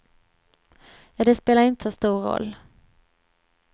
Ja, det spelar inte så stor roll.